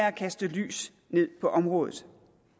at kaste lys på området